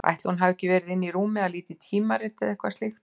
Ætli hún hafi ekki verið inni í rúmi að líta í tímarit eða eitthvað slíkt.